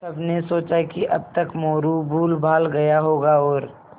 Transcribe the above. सबने सोचा कि अब तक मोरू भूलभाल गया होगा और